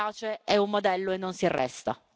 Riace è un modello e non si arresta.